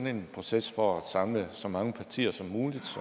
en proces for at samle så mange partier som muligt